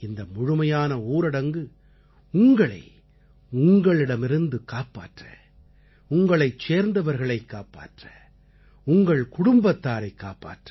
இந்த முழுமையான ஊரடங்கு உங்களை உங்களிடமிருந்து காப்பாற்ற உங்களைச் சேர்ந்தவர்களைக் காப்பாற்ற உங்கள் குடும்பத்தாரைக் காப்பாற்ற